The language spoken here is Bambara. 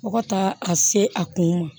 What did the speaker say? Fo ka taa a se a kun ma